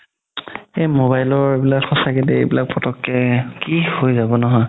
এই mobile ৰ এইবিলাক সচাকে দেই এইবিলাক ফতকে কি হয় যাব নহয়